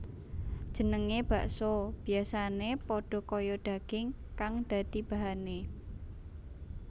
Jenengé bakso biyasané padha kaya daging kang dadi bahané